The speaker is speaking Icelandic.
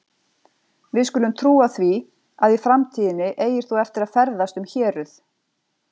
Við skulum trúa því, að í framtíðinni eigir þú eftir að ferðast um héruð